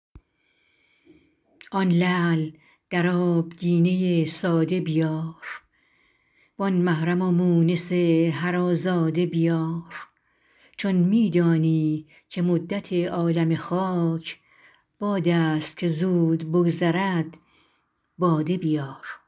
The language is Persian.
آن لعل در آبگینه ساده بیار وآن محرم و مونس هر آزاده بیار چون می دانی که مدت عالم خاک باد است که زود بگذرد باده بیار